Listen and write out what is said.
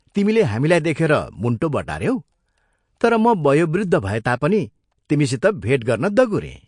तिमीले हामीलाई देखेर मुण्टो बटाऱ्यौ तर म वयोवृद्ध भए तापनि तिमीसित भेट गर्न दगुरें।